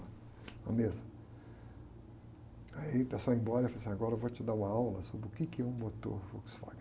uma mesa. Aí o pessoal ia embora, ele falava, agora eu vou te dar uma aula sobre o quê que é um motor Volkswagen.